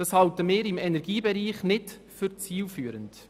Dies erachten wir im Energiebereich nicht als zielführend.